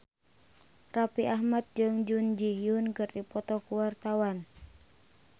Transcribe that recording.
Raffi Ahmad jeung Jun Ji Hyun keur dipoto ku wartawan